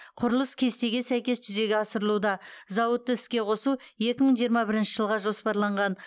құрылыс кестеге сәйкес жүзеге асырылуда зауытты іске қосу екі мың жиырма бірінші жылға жоспарланған